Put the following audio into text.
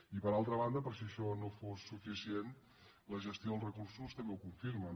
i per altra banda per si això no fos suficient la gestió dels recursos també ho confirma